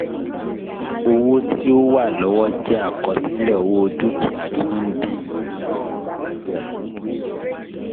Owó ti o wa lọwọ jẹ àkọsílẹ owó dukia ti o ń dín